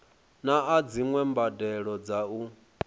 naa dziwe mbadelo dza u